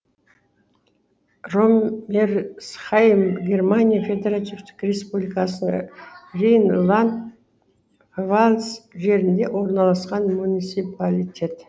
роммерсхайм германия федеративтік республикасының рейнланд пфальц жерінде орналасқан муниципалитет